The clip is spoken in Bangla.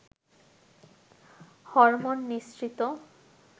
হরমোন নিঃসৃত